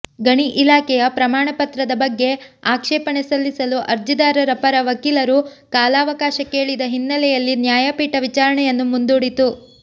ಗಣಿ ಇಲಾಖೆಯ ಪ್ರಮಾಣಪತ್ರದ ಬಗ್ಗೆ ಆಕ್ಷೇಪಣೆ ಸಲ್ಲಿಸಲು ಅರ್ಜಿದಾರರ ಪರ ವಕೀಲರು ಕಾಲಾವಕಾಶ ಕೇಳಿದ ಹಿನ್ನೆಲೆಯಲ್ಲಿ ನ್ಯಾಯಪೀಠ ವಿಚಾರಣೆಯನ್ನು ಮುಂದೂಡಿತು